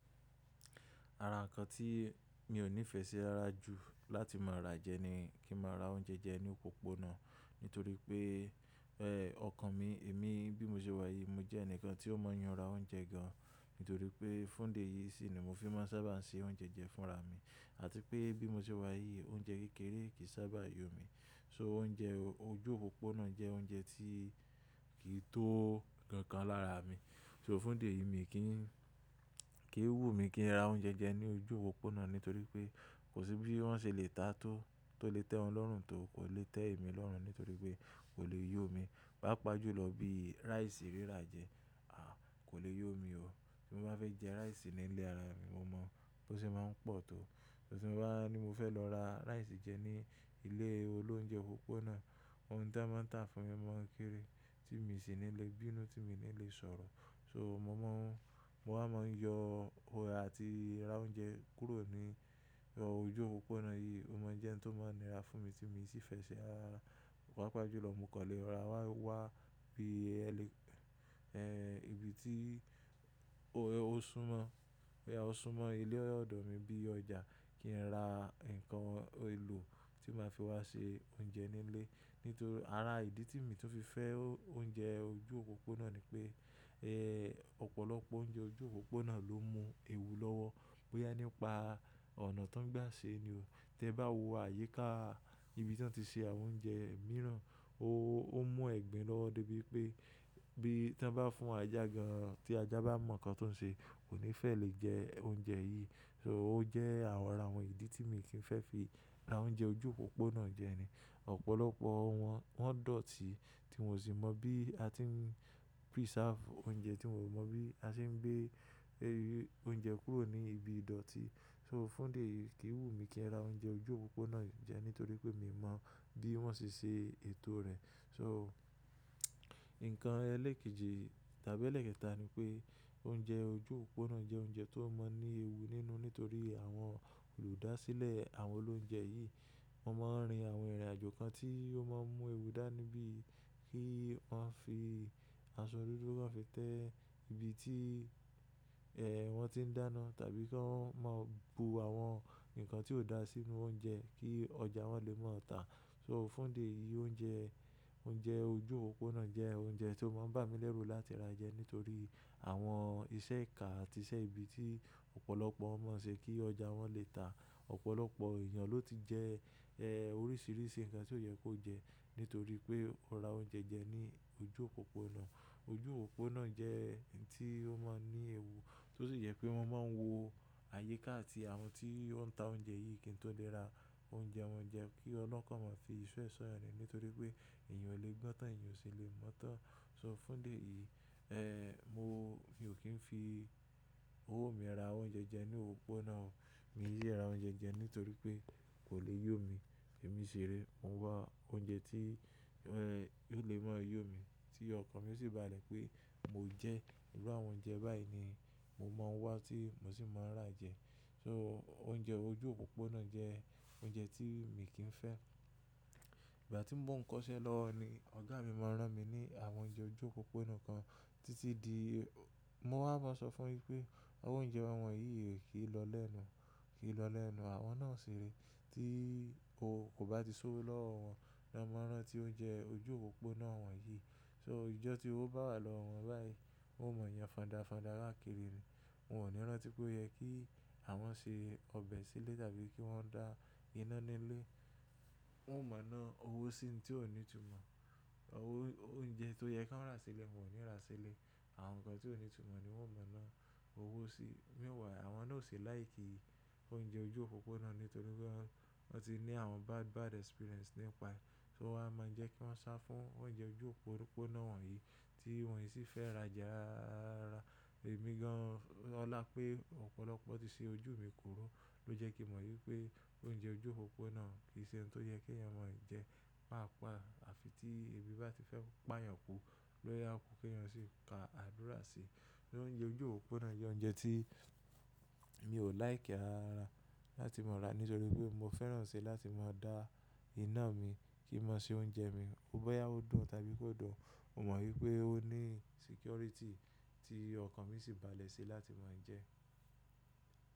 Ara ǹkan tí mi ò níìfẹ̀sí rara jù láti má ra jẹ ni kí n má ra oúnjẹ jẹ ní òpópónà. Nítorípé ọkàn mi, èmi bí mo ṣe wà yìí mo jẹ́ ẹnìkan tí ó mọ̀ yanra oúnjẹ gan. Nítorípé fún ìdí èyìí sì ni mo fi máa ń sábà se oúnjẹ jẹ fúnra mi àti pé bí mo ṣe wà yìí oúnjẹ kékeré kì í sábà yó mi. So oúnjẹ ojú òpópónà jẹ́ oúnjẹ tí kì í tó kan kan lára mi. So fún dé yìí mi kì í, kì í wù mí kí n ra oúnjẹ jẹ ní ojú òpópónà nítorí pé kò sí bí wọ́n ṣe lè ta tó lè tẹ́ wọn lọ́rùn tó kò lè tẹ́ èmi lọ́rùn nítorí pé kò lè yó mi. Papàájúlọ bí rice rírà jẹ, a! Kò lè yó mi o. Bí mo bá fẹ́ jẹ rice nílé ara mi mo mọ̀ bó ṣe máa ń pọ̀ tó. Bí mo bá ní mo fẹ́ lọ ra rice jẹ ní ilé olóúnjẹ òpópónà, òun tá a máa ń tà fún mi máa ń kiri tí mi sì ní lè bínú, tí mi ní lè sọ̀rọ̀. So mo máa ń yọ ọ̀rẹ́ àti ra oúnjẹ kúrò ní ojú òpópónà yìí. Ó mọ jẹ́ ẹni tó máa ń ra fún mi tí mo sì fẹ́ ṣe ara. Papàájúlọ mú kọlẹ́ ra wá bí ibi tí ó súnmọ́ ilé ọ̀dọ̀ mi bí i ọjà kí n ra nǹkan èlò tí màá fi wá ṣe oúnjẹ nílé. Nítorí ara ìdí tí mi tó fi fẹ́ oúnjẹ ojú òpópónà ni pé, ọ̀pọ̀lọpọ̀ oúnjẹ ojú òpópónà ló mú ewu lọ́wọ́ bóyá nípa ọ̀nà tó ń gbà ṣe ni o. Tẹ bá wo àyíká ibi tí wọ́n ti ṣe àwọn oúnjẹ mìíràn, ó mú ẹ̀gbin lọ́wọ́ dé bí wipé bí wọ́n bá fún ajá gan tí ajá bá mọ̀ nǹkan tó ń ṣe kò ní fẹ́ lè jẹ oúnjẹ yìí. So ó jẹ́ àwọn ara àwọn ìdí tí mi kì í fẹ́ fi ra oúnjẹ ojú òpópónà jẹ ni. Ọ̀pọ̀lọpọ̀ wọ́n, wọ́n dọ̀tí tí wọn o sì mọ̀ bí a ti ń preserve oúnjẹ tí wọn o mo bí a ṣe ń gbé oúnjẹ kúrò ní ibi ìdọ̀tí. So fún ìdí èyìí kì í wù mí kí n ra oúnjẹ ojú òpópónà jẹ nítorí pé mi ò mọ̀ bí wọ́n ṣe ṣe ètò rẹ̀. So nǹkan ẹlẹ́kẹ́jì tàbí ẹlẹ́kẹta ni pé oúnjẹ ojú òpópónà jẹ́ oúnjẹ tó máa ń ní ewu nínú nítorí àwọn olùdásílẹ̀ àwọn olóúnjẹ yìí, wọ́n máa ń rin àwọn ìrìnàjò kan tí ó máa ń mú ewu dá níbí. Kí wọ́n fi aṣọ dúdú kàn fi té ibi tí wọ́n ti ń dáná tàbí kí wọ́n máa bu àwọn nǹkan tí ò dá sínu oúnjẹ kí ọjà wọn lè má tà. So fún dé yìí oúnjẹ ojú òpópónà jẹ́ oúnjẹ tó máa ń bà mí lẹ́rù láti ra jẹ nítorí àwọn iṣẹ́ ìka àti iṣẹ́ ibi tí ọ̀pọ̀lọpọ̀ mọ̀ ṣe kí ọjà wọn lè tà. Ọ̀pọ̀lọpọ̀ èèyàn ló ti jẹ oríṣiríṣi nǹkan tí ò yẹ kó jẹ nítorí pé ó ra oúnjẹ jẹ ní ojú òpópónà. Ojú òpópónà jẹ́ oun ti ó máa ń ní ewu tó sì jẹ pé wọ́n máa ń wo àyíká àti àwọn tí ó ń ta oúnjẹ yìí kí n tó lè ra oúnjẹ wọn jẹ kí Ọlọ́un kan má fi iṣó re sọ́yàn ni nítorí pé èèyàn ò le gbọ́n tán èèyàn ò sì le mọ̀ tán. So fún ìdí eyìí è mọ mi ò kí ń fi owó mi ra àwọn oúnjẹ jẹ ní òpópónà o. Mi ki síì ra oúnjẹ jẹ nítorí pé kò lè yó mi. Èmi ṣìré mo ń wá oúnjẹ tí yóò lè máa yó mi tí ọkàn mi yio sì bálẹ̀ pé mo jẹ ìrú àwọn oúnjẹ báyìí ni mo máa wá tí mo sì máa rà jẹ. So oúnjẹ ojú òpópónà jẹ́ oúnjẹ tí èmi kì í fẹ́. Ìgbà tí mò ń kọ́ṣẹ́ lọ ni ọ̀gá mi máa ń rán mi ní àwọn oúnjẹ ojú òpópónà kan títí di, mo wá máa sọ fún yín pé àwọn oúnjẹ àwọn yìí kì í lọ lẹ́nu, kì í lọ lẹ́nu. Àwọn náà ṣiré tí o kò bá ti sówọ́ lówó wọn, ni wọn máa rántí oúnjẹ ojú òpópónà wọnyìí. So ijọ́ tí ówó bá wà lọ́wọ́ wọn báyìí, wọn ò mọ̀ yàn fọ̀ndàfọ̀ndà rán kiri rìn. Wọn ò ní rán tí pé o yẹ kí àwọn ṣe ọbẹ̀ sílé tàbí kí wọ́n dá iná nílé. Wọn ò mọ̀ ná owó sí ohun tí ò ní ìtumọ̀. Oúnjẹ tó yẹ kí wọ́n ra sílé wọn ò ní ra sílé. Àwọn nǹkan tí ò ní ìtumọ̀ ni wọ́n mọ̀ ná owó sí. Meanwhile àwọn náà ò ṣì like oúnjẹ ojú òpópónà nítorípé wọ́n ti ní àwọn bad bad experience nípa rẹ̀. So o wa máa ń jẹ́ kí wọ́n sá fún oúnjẹ ojú òpópónà wọnyìí tí wọ́n ki sì fẹ́ ra jẹ ara. Èmi gan ọlá pé ọ̀pọ̀lọpọ̀ ti ṣe ojú mi kòrò ló jẹ́ kí mo mọ̀ wípé oúnjẹ ojú òpópónà kì í ṣe ohun tó yẹ kí èèyàn máa jẹ. Pàápàá àfi tí ebi bá ti fẹ́ pààyàn kù lórí ọkùn kẹ́yìn sì ka àdúrà sí. Oúnjẹ ojú òpópónà jẹ́ oúnjẹ tí mi ò like rara láti má ra nítorí pé mo fẹ́ràn ṣe láti má dá iná mi kí n má ṣe oúnjẹ mi bóyá ó dùn tàbí kò dùn. Mo mọ̀ wípé ó ní security tí ọkàn mi sì bá lè ṣe láti máa ń jẹ.